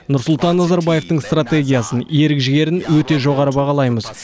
нұрсұлтан назарбаевтың стратегиясын ерік жігерін өте жоғары бағалаймыз